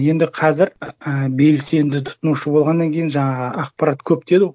енді қазір і белсенді тұтынушы болғаннан кейін жаңағы ақпарат көп деді